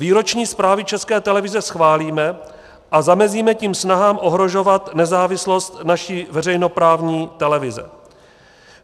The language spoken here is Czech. Výroční zprávy České televize schválíme a zamezíme tím snahám ohrožovat nezávislost naší veřejnoprávní televize.